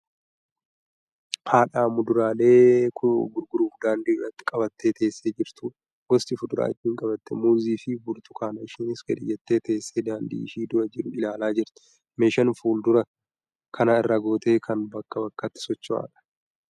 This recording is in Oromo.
Haadha muduraalee gurguruuf daandii irratti qabattee teessee jirtudha. Gosti fuduraa isheen qabatte muuziifi burtukaanadha. Isheenis gadi jettee teessee daandii ishee dura jiru ilaalaa jirti. Meeshaan fuduraa kana irra goote kan bakkaa bakkatti socho'udha.